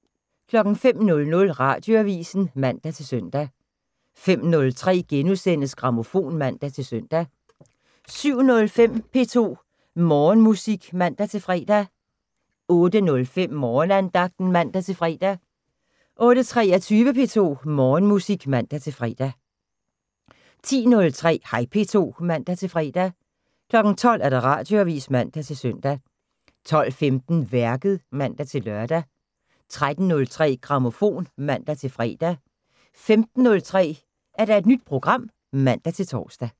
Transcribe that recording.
05:00: Radioavisen (man-søn) 05:03: Grammofon *(man-søn) 07:05: P2 Morgenmusik (man-fre) 08:05: Morgenandagten (man-fre) 08:23: P2 Morgenmusik (man-fre) 10:03: Hej P2 (man-fre) 12:00: Radioavisen (man-søn) 12:15: Værket (man-lør) 13:03: Grammofon (man-fre) 15:03: Nyt program (man-tor)